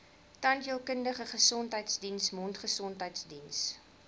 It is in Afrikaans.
tandheelkundige gesondheidsdiens mondgesondheidsdiens